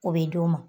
O bɛ d'u ma